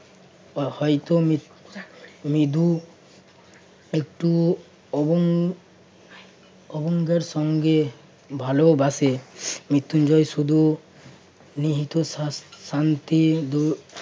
হয়তো মিথ~ মৃদু একটু অহং অহঙ্গের সঙ্গে ভালোবাসে। মৃত্যুঞ্জয় শুধু নিহিত শা~ শান্তি